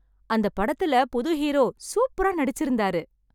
அந்தப் படத்துல புது ஹீரோ சூப்பரா நடிச்சு இருந்தாரு